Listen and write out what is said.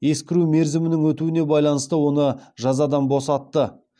ескіру мерзімінің өтуіне байланысты оны жазадан босатты